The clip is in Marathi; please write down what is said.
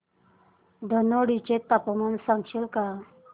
धनोडी चे तापमान सांगशील का